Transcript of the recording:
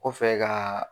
Kɔfɛ ka